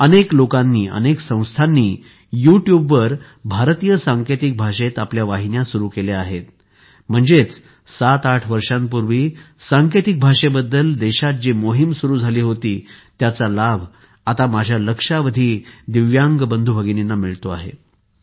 अनेक लोकांनी अनेक संस्थांनी यूट्यूबवर भारतीय सांकेतिक भाषेत आपल्या वाहिन्या सुरू केल्या आहेत म्हणजेच 78 वर्षांपूर्वी सांकेतिक भाषेबद्दल देशात जी मोहीम सुरू झाली होती त्याचा लाभ आता माझ्या लक्षावधी दिव्यांग बंधूभगिनींना मिळतो आहे